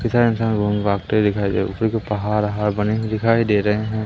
इधर उधर घूम भागते हुए दिखाई दे पहाड़ वहाड़ बने हुए दिखाई दे रहे हैं।